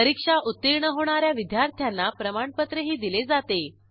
परीक्षा उत्तीर्ण होणा या विद्यार्थ्यांना प्रमाणपत्रही दिले जाते